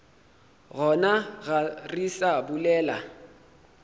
gona ga re sa bolela